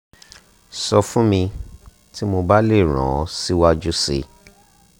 sọ fún mi tí mo bá lè ràn ọ́ síwájú si